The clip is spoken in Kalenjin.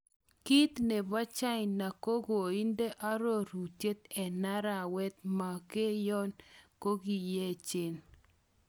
Kiit nebo China ko koinde ororutiet en arawe " Makenyon kokinyechen.